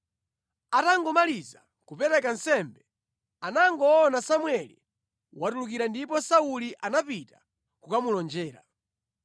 Atangomaliza kupereka nsembe, anangoona Samueli watulukira ndipo Sauli anapita kukamulonjera.